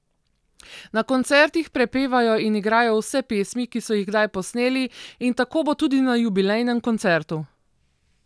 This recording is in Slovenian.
Na koncertih prepevajo in igrajo vse pesmi, ki so jih kdaj posneli, in tako bo tudi na jubilejnem koncertu.